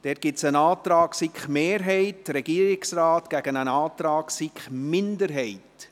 Hier gibt es einen Antrag der SiK-Mehrheit und des Regierungsrates gegen einen Antrag der SiK-Minderheit.